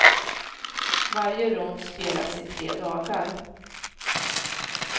Varje rond spelas i tre dagar.